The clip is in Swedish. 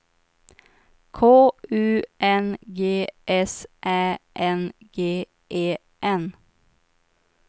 K U N G S Ä N G E N